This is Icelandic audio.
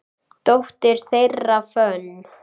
Dóttir þeirra, Fönn